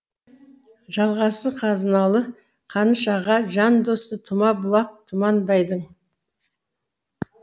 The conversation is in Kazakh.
жалғасы қазыналы қаныш аға жан досы тұма бұлақ тұманбайдың